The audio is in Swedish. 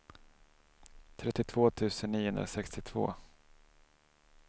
trettiotvå tusen niohundrasextiotvå